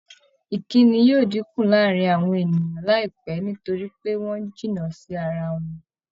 ìkínni yóò dínkù láàárin àwọn ènìyàn láìpẹ́ nítorí pé wọ́n ń jìnnà sí ara wọn